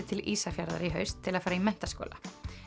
til Ísafjarðar í haust til að fara í menntaskóla